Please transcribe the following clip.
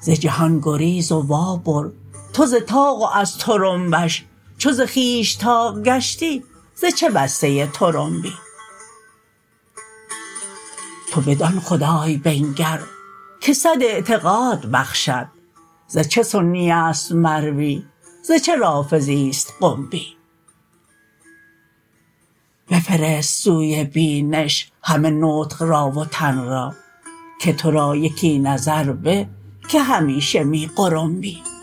ز جهان گریز و وابر تو ز طاق و از طرنبش چو ز خویش طاق گشتی ز چه بسته طرنبی تو بدان خدای بنگر که صد اعتقاد بخشد ز چه سنی است مروی ز چه رافضی است قنبی بفرست سوی بینش همه نطق را و تن را که تو را یکی نظر به که همیشه می غرنبی